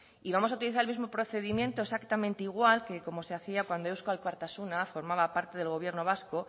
y vamos a utilizar el mismo procedimiento exactamente igual que como se hacía cuando eusko alkartasuna formaba parte del gobierno vasco